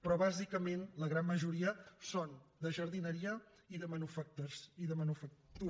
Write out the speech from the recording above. però bàsicament la gran majoria són de jardineria i de manufactura